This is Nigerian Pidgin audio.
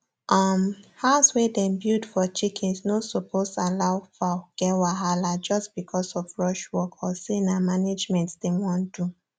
um house wey them build for chickens no suppose allow fowl get wahala just because of rush work or say na managment them wan do